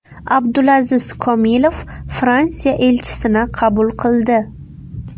Abdulaziz Komilov Fransiya elchisini qabul qildi.